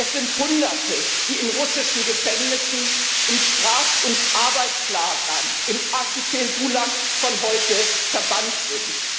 Es sind Hunderte, die in russischen Gefängnissen, in Straf und Arbeitslagern im Archipel Gulag von heute verbannt sind.